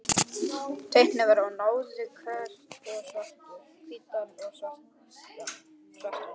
Tvinnakefli og nálar, hveiti og svuntur.